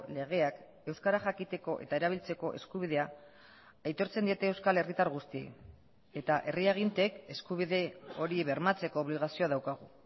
legeak euskara jakiteko eta erabiltzeko eskubidea aitortzen diete euskal herritar guztiei eta herri agintek eskubide hori bermatzeko obligazioa daukagu